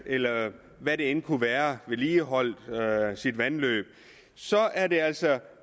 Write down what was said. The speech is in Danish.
eller hvad det end kunne være vedligeholdt sit vandløb så er det altså